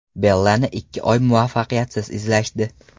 Bellani ikki oy muvaffaqiyatsiz izlashdi.